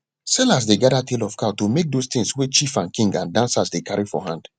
sellers dey gather tail of cow to make those tings wey chief and king and dancers dey carry for hand